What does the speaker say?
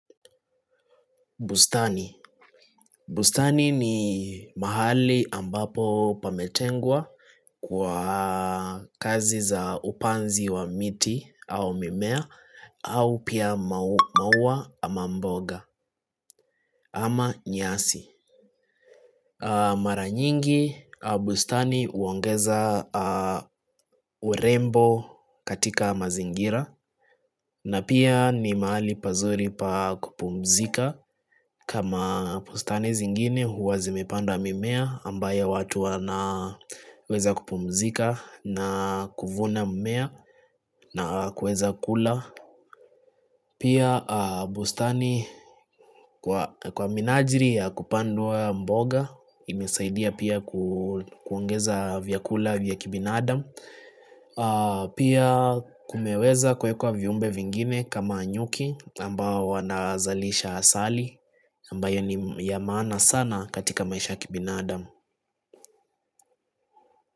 Bustani. Bustani ni mahali ambapo pametengwa kwa kazi za upanzi wa miti au mimea au pia maua ama mboga ama nyasi. Mara nyingi, bustani uongeza urembo katika mazingira na pia ni maali pazuri pa kupumzika kama bustani zingine huwa zimepanda mimea ambayo watu wana weza kupumzika na kuvuna mmea na kueza kula Pia bustani kwa kwa minajiri ya kupandwa mboga imesaidia pia ku kuongeza vyakula vyakibin adam Pia kumeweza kuekwa viumbe vingine kama nyuki ambao wanazalisha asali ambayo nim yamaana sana katika maisha ya kibinadam.